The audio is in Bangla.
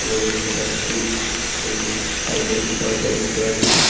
তোমরা দেখতে পাচ্ছি হুম সাইড এ একটি দরজা দেখতে পাচ্ছি।